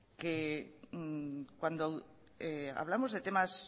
que cuando hablamos de temas